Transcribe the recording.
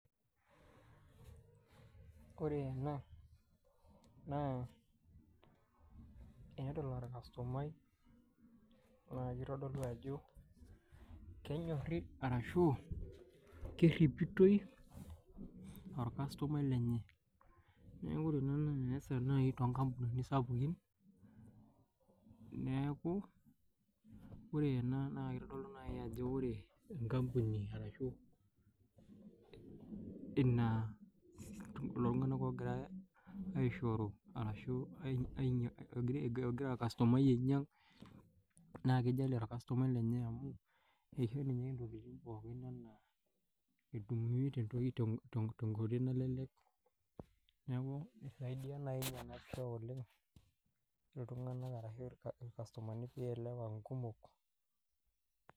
Wore ena, naa peedol orkastomai. Naa kitodolu ajo kenyorri arashu kerripitoi orkastomai lenye. Neeku wore naa entoki naasa toonkampunini sapukin. Neeku wore ena naa kitodolu naaji ajo wore enkampuni arashu lelo tunganak ookirae aishori arashu ogira orkastomai ainyiang, naa kijalie orkastomai lenye amu isho ninye intokitin pookin enaa, etumie tenkoitoi nalelek. Neeku isaidia naai niana iyiok oleng', iltunganak arashu orkastomani pee ielewa inkumok. Wore ena naa, peedol orkastomai. Naa kitodolu ajo, kenyorri arashu kerripitoi, orkastomai lenye. Neeku wore entoki naasa nai toonkampun, atumie tenkoitoi nalelek ini sapukin. Neeku wore ena naa kitodolu naii ajo wore enkampuni arashu lelo tunganak ookirae aishori arashu ekira orkastomai ainyiang. Naa kijalie orkastomai lenye amu, isho ninye intokitin pookin enaa